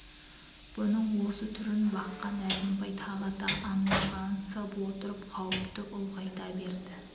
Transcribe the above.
бұның осы түрін баққан әзімбай тағы да андағансып отырып қауіпті үлғайта берді